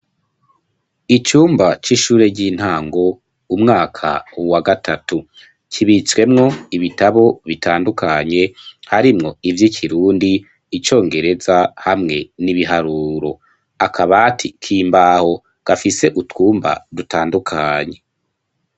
Icumba, c'ishure ry'intango, umwaka wa gatatu, kibitswemwo ibitabo bitandukanye, harimwo ivy'ikirundi, icongereza, hamwe n'ibiharuro, akabati k'imbaho, gafise utwumba dutandukanye.